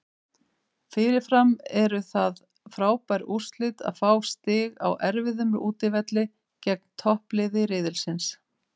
Fyrirfram eru það frábær úrslit að fá stig á erfiðum útivelli gegn toppliði riðilsins.